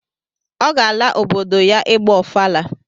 Ọ ga-ala obodo ya ịgba ọfala